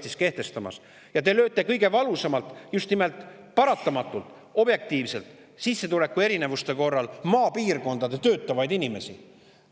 Te lööte paratamatult objektiivselt kõige valusamalt just nimelt sissetulekuerinevustest maapiirkondades töötavaid inimesi,